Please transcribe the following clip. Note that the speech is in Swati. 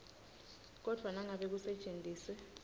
kodvwa nangabe kusetjentiswe